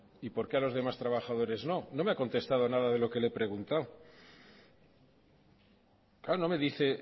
y por qué a los demás trabajadores no no me ha contestado nada de lo que le he preguntado claro no me dice